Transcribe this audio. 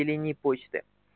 или не почта